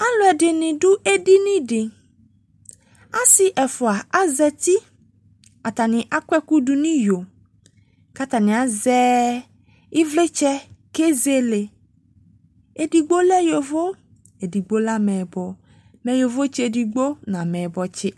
Aluɛde ne do edini de Ase ɛfua azati Atene akɔ ɛku do no iyo ka atane azɛ evletsɛ ke zele Edigbo lɛ yovo, edigbo lɛ amɛbɔ Mɛ yovotse edigbo no amɛbɔtse